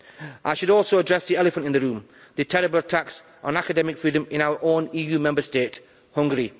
I should also address the elephant in the room, the terrible attacks on academic freedom in our own EU Member State, Hungary.